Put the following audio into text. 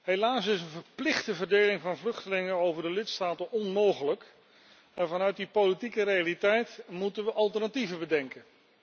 Helaas is een verplichte verdeling van vluchtelingen over de lidstaten onmogelijk, maar vanuit die politieke realiteit moeten we alternatieven bedenken.